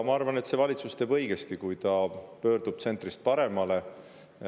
Ma arvan, et see valitsus teeb õigesti, kui ta pöördub tsentrist paremale.